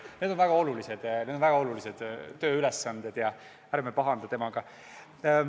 Need on väga olulised tööülesanded ja ärme pahandame temaga.